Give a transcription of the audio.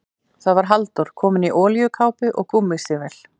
Það var Halldór, kominn í olíukápu og gúmmístígvél.